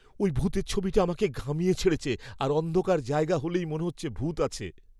ওই ভূতের ছবিটা আমাকে ঘামিয়ে ছেড়েছে আর অন্ধকার জায়গা হলেই মনে হচ্ছে ভূত আছে!